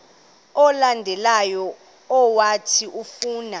olandelayo owathi ufuna